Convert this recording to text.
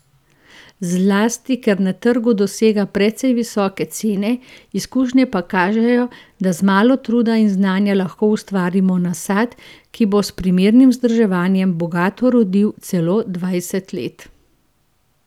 Zlasti ker na trgu dosega precej visoke cene, izkušnje pa kažejo, da z malo truda in znanja lahko ustvarimo nasad, ki bo s primernim vzdrževanjem bogato rodil celo dvajset let.